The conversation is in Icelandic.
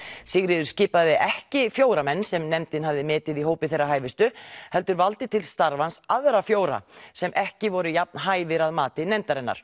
Sigríður skipaði ekki fjóra menn sem nefndin hafði metið í hópi þeirra hæfustu heldur valdi til starfans aðra fjóra sem ekki voru jafn hæfir að mati nefndarinnar